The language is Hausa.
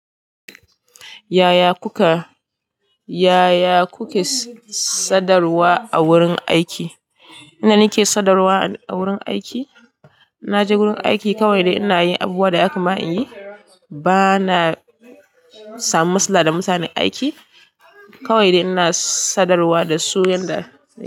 Yaya kuka, yaya kuke sadarwa a wurin aiki? Inda na ke sadarwa a wurin aiki, in naje wurin aiki kawai dai ina yin abubuwan da yaka ma in yi. Bana samun matsala da mutanen aiki, kawai da ina sadarwa da su yanda.